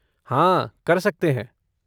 हाँ, कर सकते हैं।